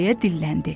deyə dilləndi.